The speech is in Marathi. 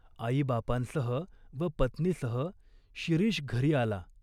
आईबापांसह व पत्नीसह शिरीष घरी आला.